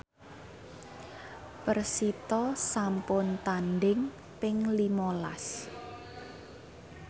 persita sampun tandhing ping lima las